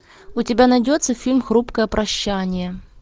у тебя найдется фильм хрупкое прощание